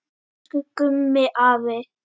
Elsku Gummi afi.